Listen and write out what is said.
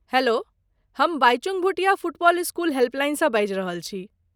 Hello ,हम Bhaichung Bhutia football school हेल्पलाइनसँ बाजि रहल छी।